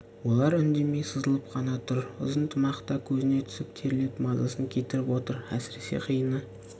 олар үндемей сызылып қана тұр ұзын тымақ та көзіне түсіп терлетіп мазасын кетіріп отыр әсіресе қиыны